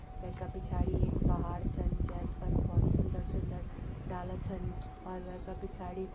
वै का पिछाड़ी एक पहाड़ छन जे पर भोत सुंदर-सुन्दर डाला छन और वै का पिछाड़ी --